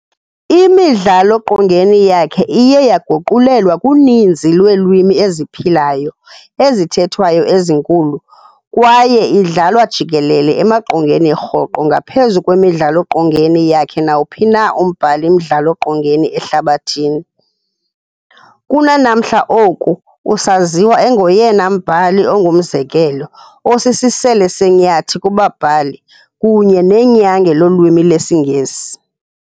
Imidlalo-qongeni yakhe iye yaguqulelwa kuninzi lweelwimi eziphilayo, ezithethwayo ezinkulu kwaye idlalwa jikelele emaqongeni rhoqo ngaphezu kwemidlalo-qongeni yakhe nawuphi na umbhali-mdlalo-qongeni ehlabathini. Kunanamhla oku, usaziwa engoyena mbhali ongumzekelo, osisisele senyathi kubabhali kunye nenyange lolwimi lwesiNgesi.